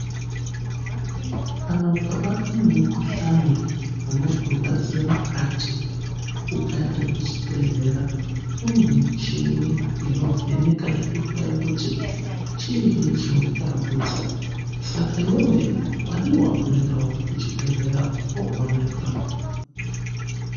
Kana ukabatwa ngemukhuhlani unorwadzira mukati, ukaende kuchibhedhlera kune michini inovheneka nekuhloya kuti chiinyi chinokutambudza. Saka iwewe wadii wamboendao kuchibhedhlera umboonekwa.